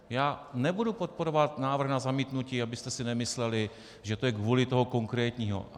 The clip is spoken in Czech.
Já nebudu podporovat návrh na zamítnutí, abyste si nemysleli, že to je kvůli tomu konkrétnímu.